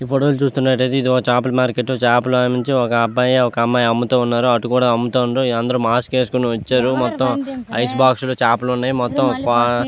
ఈ ఫోటో లో చూస్తున్నట్టయితే ఇది ఒక్క చాపల మార్కెట్ చాపలు నుంచి ఒక అబ్బాయి ఒక అమ్మాయి అమ్ముతూ ఉన్నారు. అటు కూడా అమ్ముతా ఉండు ఇళ్లు అందరు మాస్క్ వేసుకొని వచ్చారు. మొత్తం ఐస్ బాక్స్ లో చేపలు ఉన్నాయి. మొత్తం --